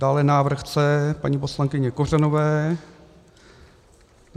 Dále návrh C paní poslankyně Kořanové.